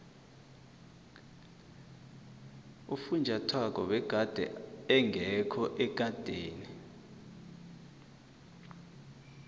ufunjathwako begade engekho ekadeni